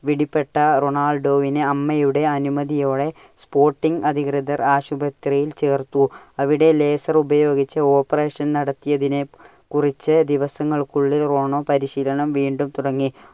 പിടിപ്പെട്ട റൊണാൾഡോവിനെ അമ്മയുടെ അനുമതിയോടെ sporting അധികൃതർ ആശുപത്രിയിൽ ചേർത്തു. അവിടെ laser ഉപയോഗിച്ചു operation നടത്തിയതിനെ കുറിച്ച് ദിവസങ്ങൾക്കുള്ളിൽ റോണോ പരിശീലനം വീണ്ടും തുടങ്ങി.